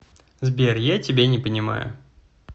сбер я тебя не понимаю